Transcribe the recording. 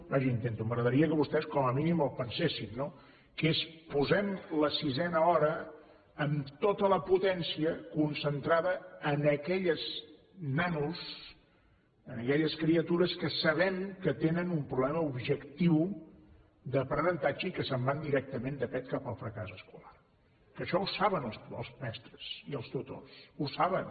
vaja intento m’agradaria que vostès com a mínim ho pensessin no que és posem la sisena hora amb tota la potència concentrada en aquells nanos en aquelles criatures que sabem que tenen un problema objectiu d’aprenentatge i que se’n van directament de pet cap al fracàs escolar que això ho saben els mestres i els tutors ho saben